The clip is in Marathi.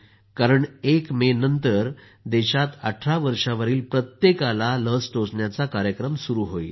कारण एक मे नंतर देशात 18 वर्षावरील प्रत्येकाला लस टोचण्याचा कार्यक्रम सुरू होईल